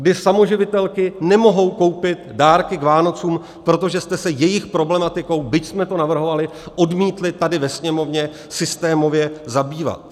Kdy samoživitelky nemohou koupit dárky k Vánocům, protože jste se jejich problematikou, byť jsme to navrhovali, odmítli tady ve Sněmovně systémově zabývat.